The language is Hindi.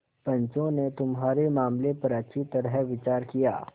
पंचों ने तुम्हारे मामले पर अच्छी तरह विचार किया